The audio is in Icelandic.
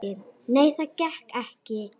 Nei, það gekk ekki.